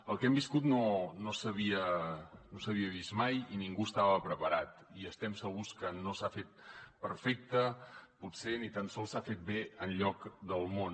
el que hem viscut no s’havia vist mai i ningú estava preparat i estem segurs que no s’ha fet perfectament potser ni tan sols s’ha fet bé enlloc del món